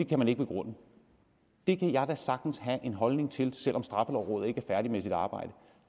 kan man ikke begrunde det kan jeg da sagtens have en holdning til selv om straffelovrådet ikke er færdig med sit arbejde